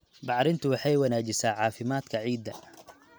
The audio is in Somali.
Bacrintu waxay wanaajisaa caafimaadka ciidda.